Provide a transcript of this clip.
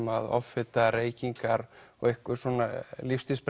að offita reykingar og einhverjar svona